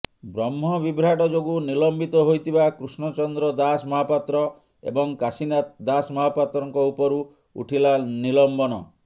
ବ୍ରହ୍ମ ବିଭ୍ରାଟ ଯୋଗୁଁ ନିଲମ୍ବିତ ହୋଇଥିବା କୃଷ୍ଣଚନ୍ଦ୍ର ଦାସ ମହାପାତ୍ର ଏବଂ କାଶିନାଥ ଦାସମହାପାତ୍ରଙ୍କ ଉପରୁ ଉଠିଲା ନିଲମ୍ବନ